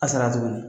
A sara tuguni